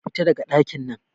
Fita a ɗakin nan